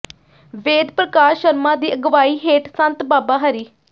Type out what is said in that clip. ਵੇਦ ਪ੍ਰਕਾਸ਼ ਸ਼ਰਮਾ ਦੀ ਅਗਵਾਈ ਹੇਠ ਸੰਤ ਬਾਬਾ ਹਰੀ